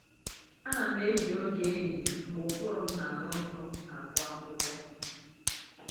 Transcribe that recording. Ana m eji oge ehihie mgbe ụbụrụ m na-aghọ nkọ agụ akwụkwọ